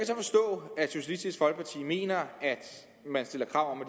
så forstå at socialistisk folkeparti mener man stiller krav om at